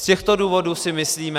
Z těchto důvodů si myslíme...